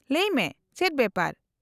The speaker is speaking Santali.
-ᱞᱟᱹᱭ ᱢᱮ , ᱪᱮᱫ ᱵᱮᱯᱟᱨ ?